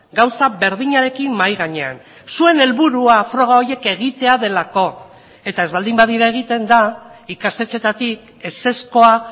gauza berdinarekin mahai gainean zuen helburua froga horiek egitea delako eta ez baldin badira egiten da ikastetxeetatik ezezkoa